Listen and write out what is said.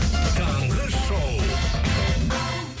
таңғы шоу